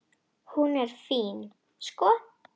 Hún er fín, sko.